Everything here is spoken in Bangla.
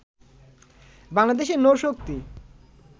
বাংলাদেশের নৌশক্তি